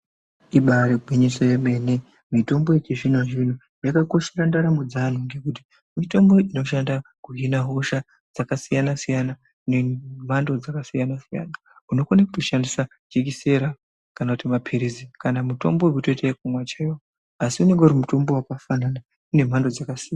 Ibaari gwinyiso remene mene mitombo yechizvino-zvino yakakoshera ndaramo dzevantu ngenyaa yekuti mitombo inoshanda kuhina hosha dzakasiyana-siyana nemhando dzakasiyana siyana. Unotokone kushandise jekisera kana maphirizi kana kutoshandise mutombo wekutiite wekumwa chaiwo asi unenge uri mutombo wakafanana nemhando dzakasiyana.